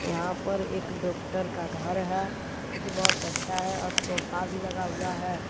यहां पर एक डॉक्टर का घर है जो कि बहोत अच्छा है और सोफा भी लगा हुआ है।